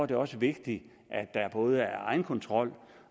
det også vigtigt at der både er egenkontrol